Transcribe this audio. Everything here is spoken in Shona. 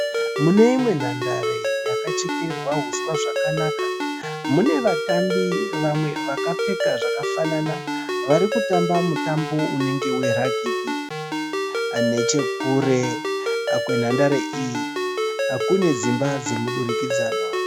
Mune imwe nhandare yakachekererwa uswa zvakanaka mune vatambi vamwe vakapfeka zvakafanana vari kutamba mutambo unenge we Ragibhi. Nechekure kwenhandare iyi kune dzimba dzomudurikidzanwa.